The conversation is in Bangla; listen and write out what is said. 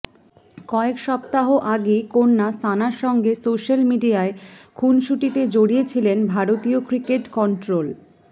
কয়েক সপ্তাহ আগেই কন্যা সানার সঙ্গে সোশ্যাল মিডিয়ায় খুনসুটিতে জড়িয়েছিলেন ভারতীয় ক্রিকেট কন্ট্রোল